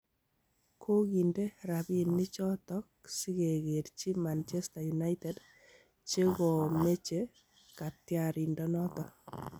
Kogiinde rabinichoto sigegerchi Manchester United chekomeche katyarindenoto